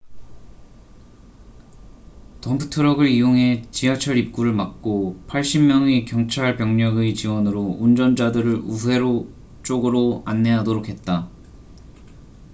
덤프트럭을 이용해 지하철 입구를 막고 80명의 경찰병력의 지원으로 운전자들을 우회로 쪽으로 안내하도록 했다